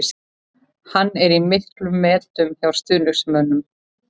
Hann er í miklum metum hjá stuðningsmönnum.